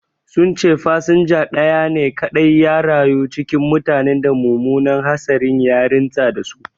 Sun ce fasinja ɗaya ne kaɗai ya rayu cikin mutanen da mummunan hatsarin ya rintsa da su